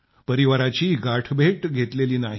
परिवाराची गाठभेट घेतलेली नाही